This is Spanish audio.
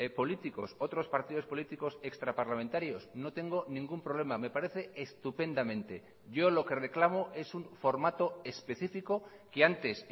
políticos otros partidos políticos extraparlamentarios no tengo ningún problema me parece estupendamente yo lo que reclamo es un formato específico que antes